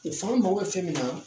an mago bɛ fɛn min na